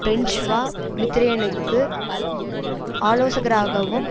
François மித்திரோனுக்கு ஆலோசகராகவும்